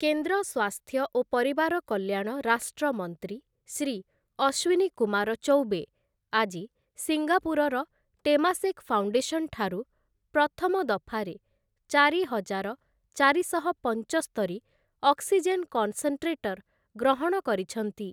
କେନ୍ଦ୍ର ସ୍ୱାସ୍ଥ୍ୟ ଓ ପରିବାର କଲ୍ୟାଣ ରାଷ୍ଟ୍ରମନ୍ତ୍ରୀ ଶ୍ରୀ ଅଶ୍ୱିନୀକୁମାର ଚୌବେ ଆଜି ସିଙ୍ଗାପୁରର 'ଟେମାସେକ୍ ଫାଉଣ୍ଡେସନ'ଠାରୁ ପ୍ରଥମ ଦଫାରେ ଚାରିହଜାର ଚାରିଶହ ପଞ୍ଚସ୍ତରି ଅକ୍ସିଜେନ କନ୍‌ସେଣ୍ଟ୍ରେଟର୍ ଗ୍ରହଣ କରିଛନ୍ତି ।